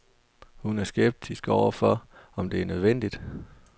Hun er skeptisk over for, om det er nødvendigt.